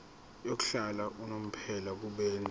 yokuhlala unomphela kubenzi